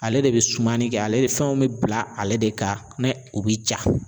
Ale de bɛ sumani kɛ, ale fɛn bɛ bila ale de kan ni u bɛ ja